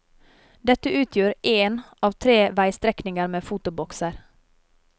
Dette utgjør én av tre veistrekninger med fotobokser.